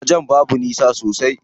Wajen babu nisa sosai.